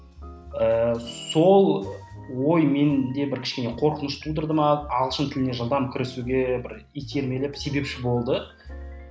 ііі сол ой менде бір кішкене қорқыныш тудырды ма ағылшын тіліне жылдам кірісуге бір итермелеп себепші болды